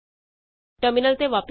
terminal ਤੇ ਵਾਪਸ ਆਉ